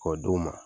K'o d'u ma